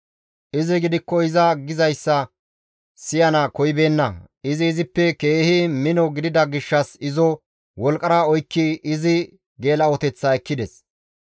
Izi gidikko iza gizayssa siyana koyibeenna; izi izippe keehi mino gidida gishshas izo wolqqara oykkidi izi geela7oteththaa ekkides.